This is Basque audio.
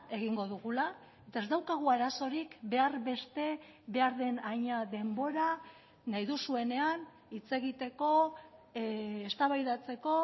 egingo dugula eta ez daukagu arazorik behar beste behar den haina denbora nahi duzuenean hitz egiteko eztabaidatzeko